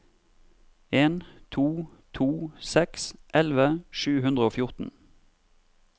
en to to seks elleve sju hundre og fjorten